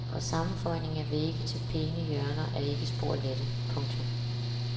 Og sammenføjning af vægge til pæne hjørner er ikke spor lettere. punktum